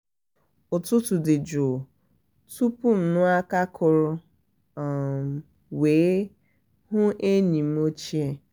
ụtụtụ dị jụụ tụpu m anụ aka akụrụ um wee um hụ enyi m ochie